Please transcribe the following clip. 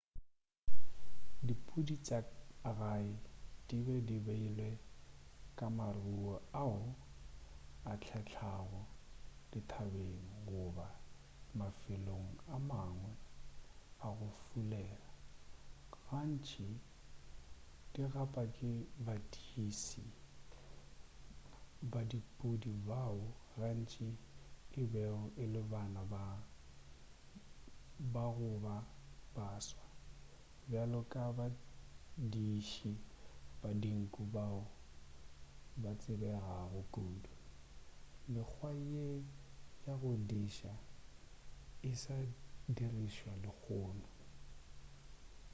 dipudi tša ka gae di be di beilwe ka maruo ao a hlehlago dithabeng goba mafelong a mangwe a go fulela gantši di gapa ke badiši ba dipudi bao gantši e bego e le bana goba baswa bjalo ka badiši ba dinku bao ba tsebegago kudu mekgwa ye ya go diša e sa dirišwa lehono